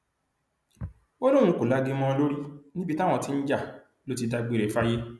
ó lóun kò lagi mọ ọn lórí níbi táwọn ti ń jà ló ti dágbére fáyé